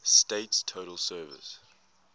state's total surface